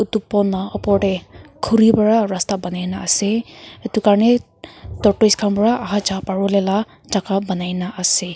etu pool laga opor te khori para rasta boani kina ase etu kane tortoise khan para aha ja paribo le la chaka banai kina ase.